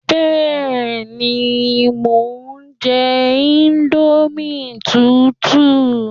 Bẹ́ẹ̀ni, mo ń jẹ íńdómì tútù